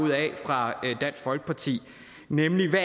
fra dansk folkeparti nemlig hvad